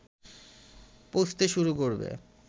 পৌঁছতে শুরু করবে